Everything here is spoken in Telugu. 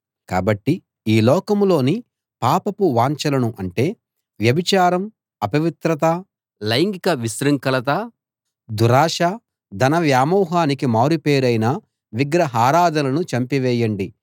కాబట్టి ఈ లోకంలోని పాపపు వాంఛలను అంటే వ్యభిచారం అపవిత్రత లైంగిక విశృంఖలత దురాశ ధన వ్యామోహానికి మారుపేరైన విగ్రహారాధనలను చంపివేయండి